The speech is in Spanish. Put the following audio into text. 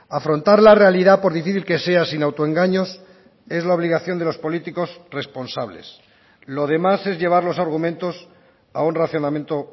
afrontar la realidad por difícil que sea sin autoengaños es la obligación de los políticos responsables lo demás es llevar los argumentos a un racionamiento